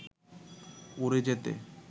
উড়ে যেতে